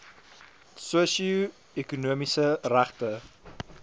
sosio ekonomiese regte